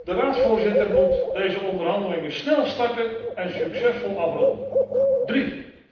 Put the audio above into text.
De Raadsvoorzitter moet deze onderhandelingen snel starten en succesvol afronden. Ten derde.